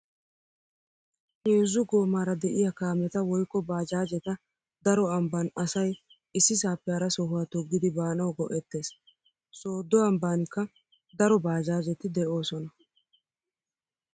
Heezzu goomaara de'iyaa kaameta woykko baajaajeta daro ambban asay issisaappe hara sohuwaa toggidi baanawu go'ettees. Sooddo ambbaanikka daro baajaajeti de"oosona.